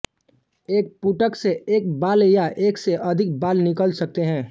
एक पुटक से एक बाल या एक से अधिक बाल निकल सकते हैं